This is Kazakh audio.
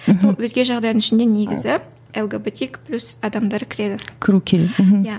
мхм сол өзге жағдайдың ішіне негізі лгбтик плюс адамдары кіреді